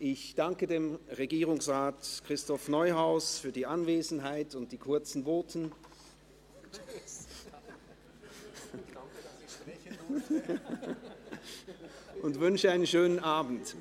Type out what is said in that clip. Ich danke Regierungsrat Neuhaus für die Anwesenheit und die kurzen Voten und wünsche einen schönen Abend.